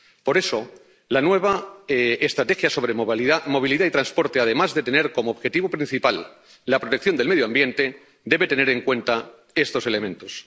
Por eso, la nueva estrategia sobre movilidad y transporte, además de tener como objetivo principal la protección del medio ambiente, debe tener en cuenta estos elementos.